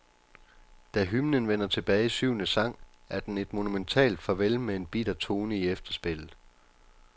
Da hymnen vender tilbage i syvende sang, er den et monumentalt farvel med en bitter tone i efterspillet.